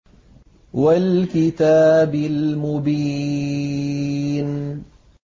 وَالْكِتَابِ الْمُبِينِ